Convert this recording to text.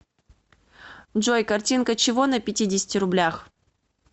джой картинка чего на пятидесяти рублях